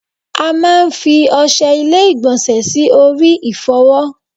A máa fi Oṣé ilé igbonse sì orí ifowo